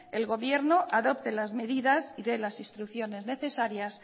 el gobierno adopte las medidas y dé las instrucciones necesarias